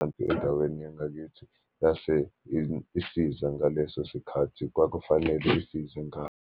Kanti endaweni yangakithi yase isiza ngaleso sikhathi kwakufanele isize .